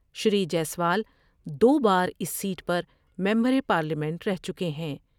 شری جیسوال دو باراس سیٹ پرممبر پارلیمنٹ رہ چکے ہیں ۔